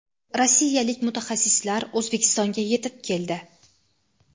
rossiyalik mutaxassislar O‘zbekistonga yetib keldi.